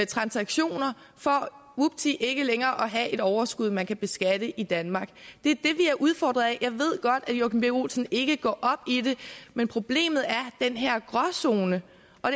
transaktioner for vupti ikke længere at have et overskud man kan beskatte i danmark vi er udfordret af jeg ved godt at joachim b olsen ikke går op i det men problemet er den her gråzone